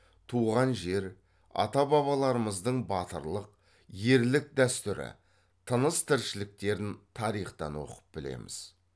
туған жер ата бабаларымыздың батырлық ерлік дәстүрі тыныс тіршіліктерін тарихтан оқып білеміз